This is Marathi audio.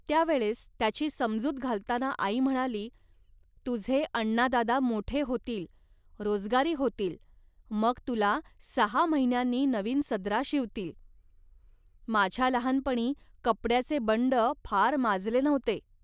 त्या वेळेस त्याची समजूत घालताना आई म्हणाली, "तुझे अण्णादादा मोठे होतील, रोजगारी होतील, मग तुला सहा महिन्यांनी नवीन सदरा शिवतील. माझ्या लहानपणी कपड्याचे बंड फार माजले नव्हते